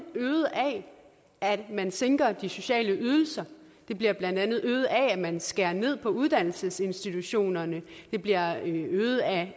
øget af at man sænker de sociale ydelser det bliver blandt andet øget af at man skærer ned på uddannelsesinstitutionerne det bliver øget af